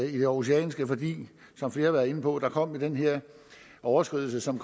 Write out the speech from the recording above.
i det aarhusianske for som flere har været inde på kom der den her overskridelse som